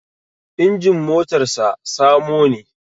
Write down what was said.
Injin motar sa samo ne